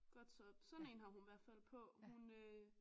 Godt så sådan en har hun i hvert fald på. Hun øh